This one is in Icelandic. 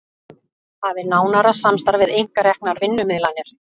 Hafi nánara samstarf við einkareknar vinnumiðlanir